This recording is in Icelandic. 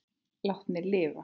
Látnir lifa